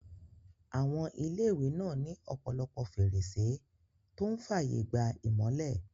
Àwọn ilé-ìwé náà ní ọ̀pọ̀lọpọ̀ fèrèsé tó n fààyè gba ìmọ́lẹ̀